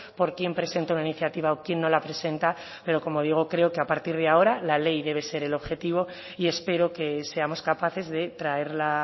por quién presenta una iniciativa o quién no la presenta pero como digo creo que a partir de ahora la ley debe ser el objetivo y espero que seamos capaces de traerla